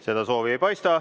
Seda soovi ei paista.